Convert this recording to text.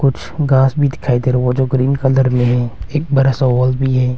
कुछ घास भी दिखाई दे वह जो ग्रीन कलार में है एक बरा सा हल भी है।